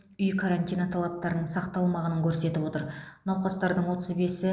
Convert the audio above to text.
үй карантині талаптарының сақталмағанын көрсетіп отыр науқастардың отыз бесі